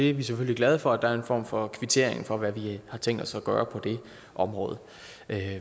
er selvfølgelig glade for at der er en form for kvittering for hvad vi har tænkt os at gøre på det område